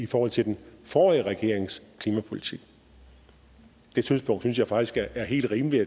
for til den forrige regerings klimapolitik det synspunkt synes jeg faktisk er helt rimeligt